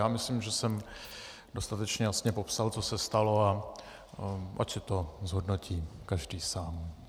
Já myslím, že jsem dostatečně jasně popsal, co se stalo, a ať si to zhodnotí každý sám.